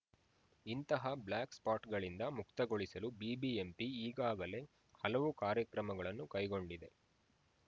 ಇಂತಹ ಬ್ಲಾಕ್‌ಸ್ಪಾಟ್‌ಗಳಿಂದ ಮುಕ್ತಗೊಳಿಸಲು ಬಿಬಿಎಂಪಿ ಈಗಾಗಲೇ ಹಲವು ಕಾರ್ಯಕ್ರಮಗಳನ್ನು ಕೈಗೊಂಡಿದೆ